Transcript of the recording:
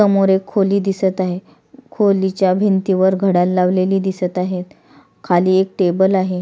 समोर एक खोली दिसत आहे खोलीच्या भिंतीवर घडयाळ लावलेली दिसत आहेत खाली एक टेबल आहे.